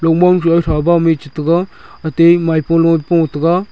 mich taga ate maipo loye po taga.